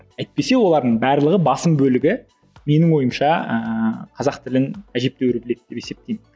әйтпесе олардың барлығы басым бөлігі менің ойымша ііі қазақ тілін әжептеуір біледі деп есептеймін